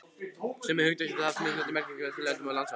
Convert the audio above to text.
Sömu hugtök geta haft mismunandi merkingu eftir löndum og landsvæðum.